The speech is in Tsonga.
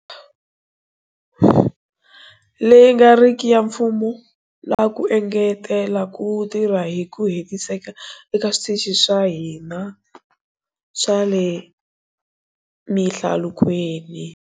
Leyi nga riki ya mfumo na ku engetela ku tirha hi ku hetiseka ka switichi swa ka hina swa le mihlalukweni.